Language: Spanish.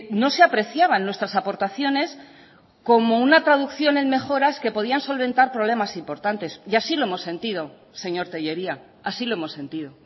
no se apreciaban nuestras aportaciones como una traducción en mejoras que podían solventar problemas importantes y así lo hemos sentido señor tellería así lo hemos sentido